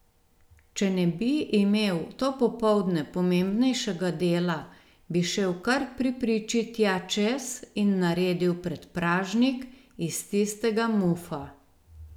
Če ne bi imel to popoldne pomembnejšega dela, bi šel kar pri priči tja čez in naredil predpražnik iz tistega mufa.